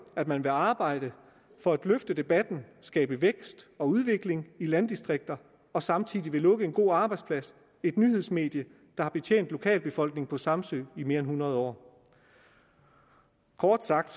at man vil arbejde for at løfte debatten og skabe vækst og udvikling i landdistrikterne og samtidig vil lukke en god arbejdsplads et nyhedsmedie der har betjent lokalbefolkningen på samsø i mere end hundrede år kort sagt